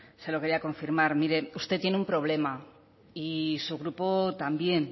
se lo quería confirmar mire usted tiene un problema y su grupo también